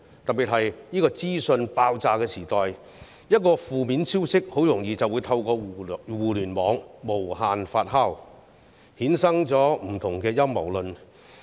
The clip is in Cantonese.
特別是在這個資訊爆炸的時代，一個負面消息很容易透過互聯網無限發酵，衍生不同的陰謀論。